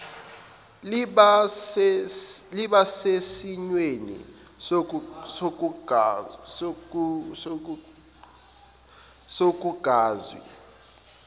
liba sesimweni sokungakwazi